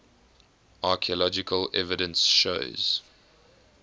archaeological evidence shows